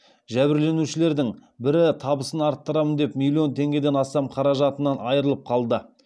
жәбірленушілердің бірі табысын арттырамын деп миллион теңгеден астам қаражатынан айырылып қалды